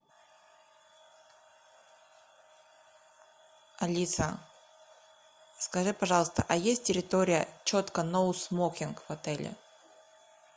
алиса скажи пожалуйста а есть территория четко ноу смокинг в отеле